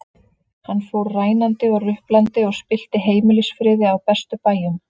Hann fór rænandi og ruplandi og spillti heimilisfriði á bestu bæjum.